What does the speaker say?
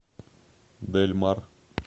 дэль мар